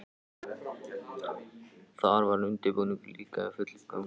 Þar var undirbúningur líka í fullum gangi.